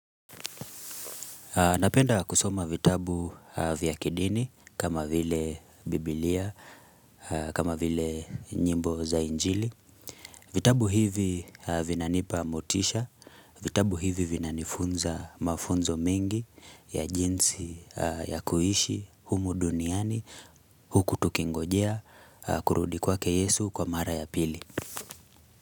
Napenda kusoma vitabu vya kidini kama vile biblia, kama vile nyimbo za injili. Vitabu hivi vinanipa motisha, vitabu hivi vinanifunza mafunzo mengi ya jinsi ya kuishi, humu duniani, huku tukingojie, kurudi kwake yesu kwa mara ya pili.